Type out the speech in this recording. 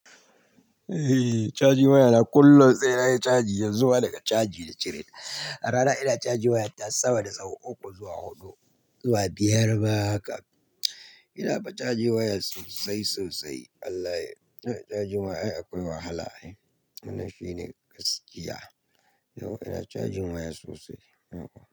Eh, cajin waya na kullum sai na yi caji yanzu ma daga caji da cire. A rana ina cajin waya ta sama da sau uku zuwa hudu zuwa biyar ma haka. Ina fa caji waya sosai sosai. Wallahi, cajin waya ai akwai wahala. Wannan shine gaskiya. Yau ina cajin waya sosai.